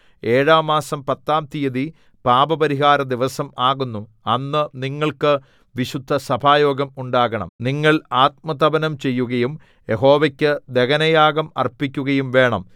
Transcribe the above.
ഏഴാം മാസം പത്താം തീയതി പാപപരിഹാരദിവസം ആകുന്നു അന്ന് നിങ്ങൾക്ക് വിശുദ്ധസഭായോഗം ഉണ്ടാകണം നിങ്ങൾ ആത്മതപനം ചെയ്യുകയും യഹോവയ്ക്കു ദഹനയാഗം അർപ്പിക്കുകയും വേണം